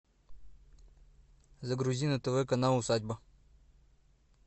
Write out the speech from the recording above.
загрузи на тв канал усадьба